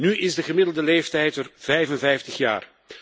Nu is de gemiddelde leeftijd er 55 jaar.